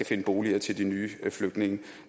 finde boliger til de nye flygtninge